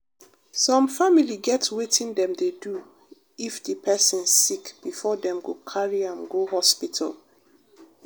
some family get wetin dem dey do if di pesin sick before dem go carry am go hospital.